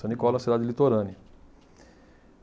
San Nicola é uma cidade litorânea.